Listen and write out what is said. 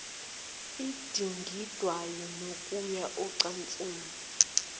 edingidwayo nokuya ocansini